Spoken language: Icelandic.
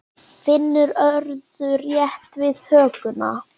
Finnur örðu rétt við hökuna.